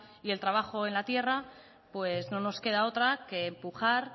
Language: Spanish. y el trabajo en la tierra pues no nos queda otra que empujar